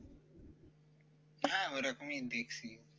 হ্যাঁ ঐরকমই দেখছি